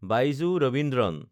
Baiju Raveendran